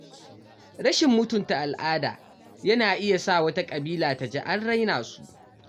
Rashin mutunta al’ada yana iya sa wata ƙabila ta ji an raina su.